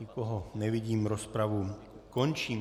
Nikoho nevidím, rozpravu končím.